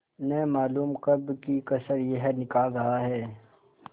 न मालूम कब की कसर यह निकाल रहा है